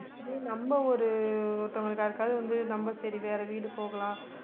நம்ம ஒரு ஒருத்தவங்களுக்கு யாருக்காவது வந்து நம்ம சரி வேற வீடு போகலாம்